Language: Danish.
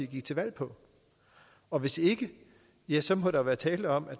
gik til valg på og hvis ikke ja så må der være tale om at